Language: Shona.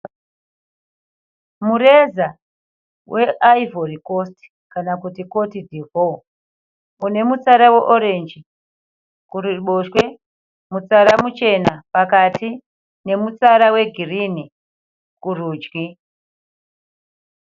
Mureza weIvory Coast kana kuti Cote D'voire. Une mutsara weorenji kuruboshwe, mutsara muchena pakati nemutsara wegirini kurudyi.